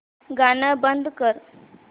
गाणं बंद कर